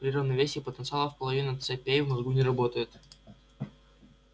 при равновесии потенциалов половина позитронных цепей в мозгу не работает